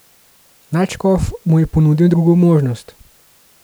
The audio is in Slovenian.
Nadškof mu je ponudil drugo možnost.